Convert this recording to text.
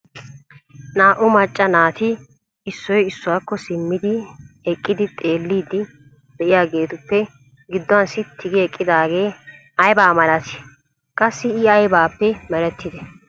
Naa"u macca naati issoy issuwakko simmidi eqqidi xeellidi de'iyaageetuppe gidduwan sitti gi eqqidaage aybba malati? Qassi I aybbappe meretide ?